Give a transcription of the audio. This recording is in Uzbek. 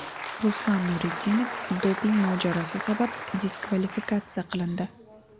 Ruslan Nurudinov doping mojarosi sabab diskvalifikatsiya qilindi.